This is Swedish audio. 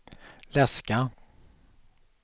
läska